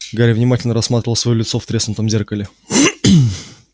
гарри внимательно рассматривал своё лицо в треснутом зеркале